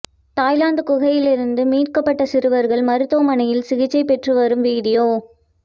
Thailand குகையில் இருந்து மீட்கப்பட்ட சிறுவர்கள் மருத்துவமனையில் சிகிச்சை பெற்றுவரும் வீடியோ